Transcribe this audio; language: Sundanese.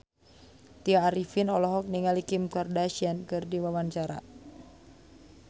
Tya Arifin olohok ningali Kim Kardashian keur diwawancara